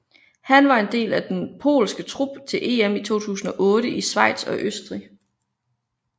Han var en del af den polske trup til EM i 2008 i Schweiz og Østrig